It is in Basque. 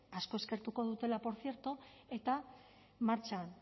asko eskertuko dutela por cierto eta martxan